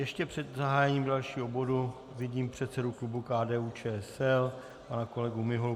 Ještě před zahájením dalšího bodu vidím předsedu klubu KDU-ČSL pana kolegu Miholu.